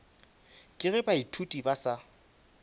ka ge baithuti ba sa